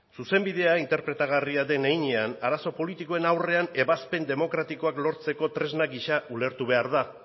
zuzenbidea interpretagarria den heinean arazo politikoen aurrean ebazpen demokratikoak lortzeko tresna gisa ulertu behar da